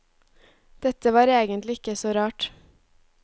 Dette var egentlig ikke så rart.